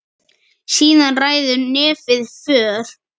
Síðan ræður nefið för.